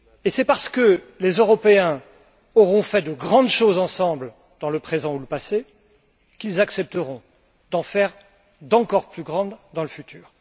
C'est parce que les Européens auront fait de grandes choses ensemble dans le présent ou le passé qu'ils accepteront d'en faire d'encore plus grandes dans le futur.